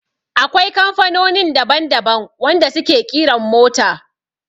Akwai kamfanonin daban daban wanda su ke ƙiran mota